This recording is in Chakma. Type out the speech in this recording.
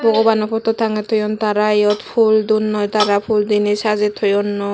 bobano putu tange toyond tara yot pool donno tara pool dene saje toyondo.